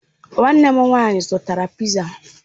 Nwanne m nwanyị zụtara piza.